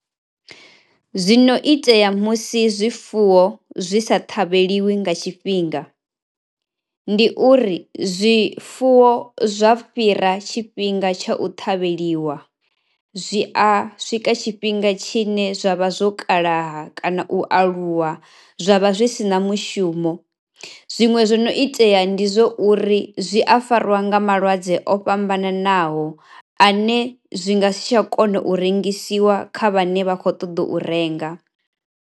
Zwi no itea musi zwifuwo zwi sa ṱhavheliwi nga tshifhinga ndi uri zwifuwo zwa fhira tshifhinga tsha u ṱhavheliwa zwi a swika tshifhinga tshine zwa vha zwo kalaha kana u aluwa, zwa vha zwi si na mushumo, zwiṅwe zwo no itea ndi zwo uri zwi a fariwa nga malwadze o fhambananaho ane zwi nga si tsha kona u rengisiwa kha vhane vha kho ṱoḓa u renga.